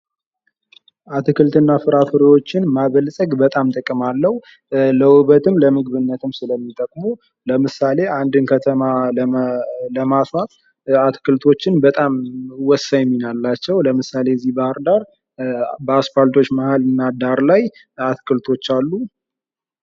አትክልት ፍራፍሬዎችን ማበልፀግ በጣም ጥቅም አለው። ለውበትም ለምግብነትም ስለሚጠቅሙ ለምሳሌ አንድን ከተማ ለማስዋብ አትክልቶችን በጣም ወሳኝ ሚና አላቸው ።ለምሳሌ እዚህ ባህር ዳር በአስፓልቶች መሃልና ዳር ላይ አትክልቶች አሉ።